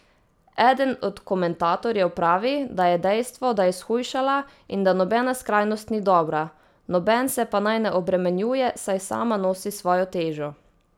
Eden od komentatorjev pravi, da je dejstvo, da je shujšala, in da nobena skrajnost ni dobra: 'Noben se pa naj ne obremenjuje, saj sama nosi svojo težo.